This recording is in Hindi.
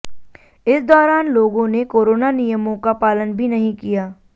इस दौरान लोगों ने कोरोना नियमों का पालन भी नहीं किया